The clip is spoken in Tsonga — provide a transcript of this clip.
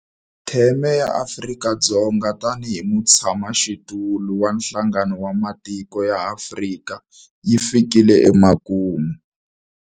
Theme ya Afrika-Dzonga tanihi mutshamaxitulu wa Nhlangano wa Matiko ya Afrika yi fikile emakumu.